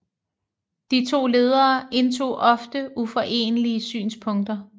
De to ledere indtog ofte uforenelige synspunkter